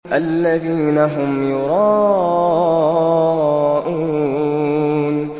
الَّذِينَ هُمْ يُرَاءُونَ